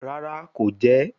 Rara, ko jẹ ẹ